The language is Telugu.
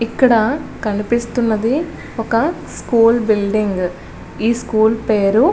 ఇక్కడ కనిపిస్తున్నది ఒక స్కూల్ బిల్డింగ్ ఈ స్కూల్ పేరు --